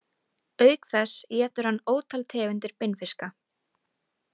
Auk þess étur hann ótal tegundir beinfiska.